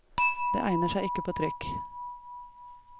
Det egner seg ikke på trykk.